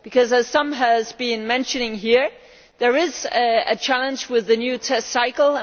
As some have been mentioning here, there is a challenge with the new test cycle.